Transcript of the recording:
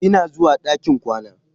Ina zuwa ɗakin kwana.